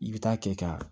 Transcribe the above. I bɛ taa kɛ ka